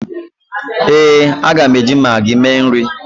éè, a ga m eji maggi mee nri